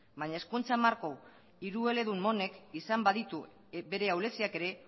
baina hezkuntza marko hirueledun honek izan baditu bere ahuleziak ere